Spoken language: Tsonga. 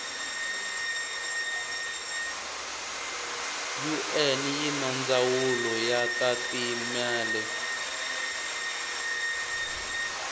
un yinandzawulo yatatimale